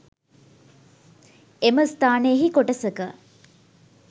එම ස්ථානයෙහි කොටසක